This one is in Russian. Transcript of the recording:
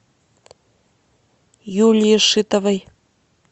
юлии шитовой